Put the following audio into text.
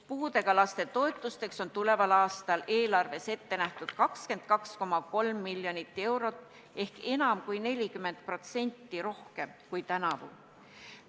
Puudega laste toetusteks on tuleval aastal eelarves ette nähtud 22,3 miljonit eurot ehk üle 40% rohkem kui tänavu.